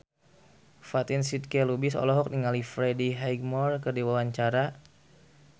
Fatin Shidqia Lubis olohok ningali Freddie Highmore keur diwawancara